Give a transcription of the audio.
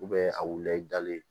a wulila i dalen